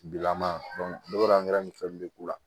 Bilama ne b'a ni fɛn min k'u la